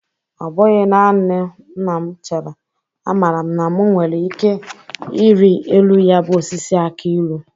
Ọ bụghị nanị na m chere; amara m na mụ nwere ike iri elu ya bụ osisi akị ilu.